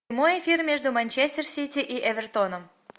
прямой эфир между манчестер сити и эвертоном